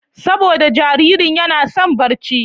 saboda jaririn yana son barci.